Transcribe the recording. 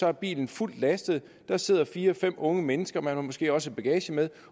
er bilen fuldt lastet der sidder fire fem unge mennesker man har måske også bagage med